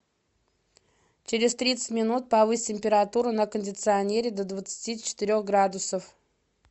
через тридцать минут повысь температуру на кондиционере до двадцати четырех градусов